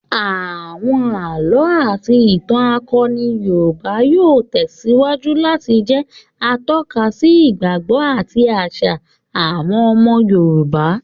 Àwọn àlọ́ àti ìtàn akọni Yorùbá yóò tẹ̀síwájú láti jẹ atọ́ka sí ìgbàgbọ́ àti àṣà àwọn ọmọ Yorùbá